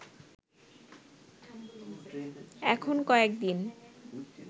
এখন কয়েক দিন